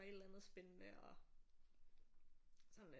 Et eller andet spændende og sådan lidt